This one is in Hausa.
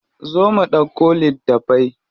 Zo mu ɗauko littafai.